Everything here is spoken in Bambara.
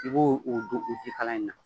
I b'o don jikalan in na